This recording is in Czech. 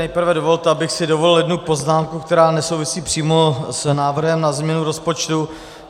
Nejprve dovolte, abych si dovolil jednu poznámku, která nesouvisí přímo s návrhem na změnu rozpočtu.